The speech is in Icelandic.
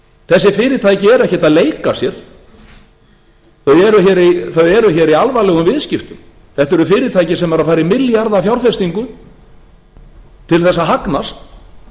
þessi fyrirtæki eru ekkert að leika sér þau eru í alvarlegum viðskiptum þetta eru fyrirtæki sem eru að fara í milljarðafjárfestingu til að hagnast